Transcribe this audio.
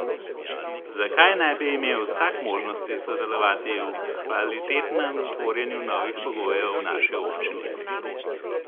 Zakaj ne bi imel vsak možnosti sodelovati v kvalitetnem tvorjenju novih pogojev v naši občini?